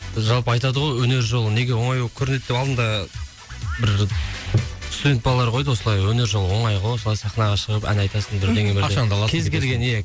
жалпы айтады ғой өнер жолы неге оңай болып көрінеді деп алдында бір студент балалар қойды осылай өнер жолы оңай ғой осылай сахнаға шығып ән айтасың бірдеңе бірдеңе кез келген иә